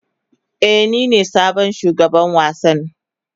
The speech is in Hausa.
Ee, nine sabon shugaban wasan.